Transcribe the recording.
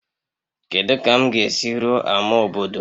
Kedu ka m ga-esi ruo ama obodo?